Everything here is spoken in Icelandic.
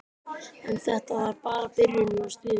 En þetta var bara byrjunin á stríðinu.